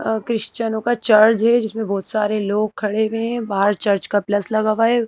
और क्रिस्चनों का चर्ज है जिसमें बहोत सारे लोग खड़े हुए हैं बाहर चर्च का प्लस लगा हुआ है।